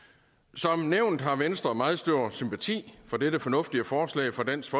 som nævnt har venstre meget stor sympati for dette fornuftige forslag fra dansk